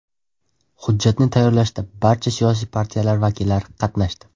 Hujjatni tayyorlashda barcha siyosiy partiyalar vakillari qatnashdi.